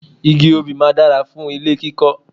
Igi obì máa dára fún ilé kíkọ́